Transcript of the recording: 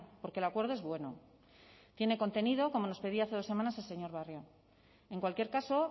porque el acuerdo es bueno tiene contenido como nos pedía hace dos semanas el señor barrio en cualquier caso